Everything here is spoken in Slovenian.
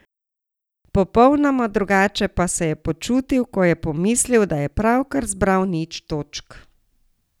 Popolnoma drugače pa se je počutil, ko je pomislil, da je pravkar zbral nič točk.